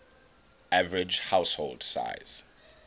average household size